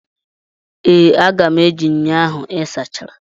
Ee, aga m eji ṅyọ ahụ ị sachara.